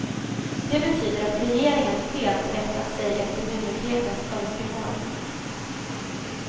Det betyder att regeringen helt rättat sig efter myndighetens önskemål.